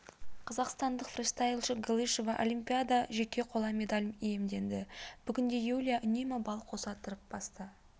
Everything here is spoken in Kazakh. қазақстандық фристайлшы галышева олимпиада жеке қола медаль иемденді бүгін юлия үнемі балл қоса тырып басты